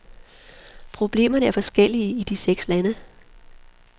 Problemerne er forskellige i de seks lande.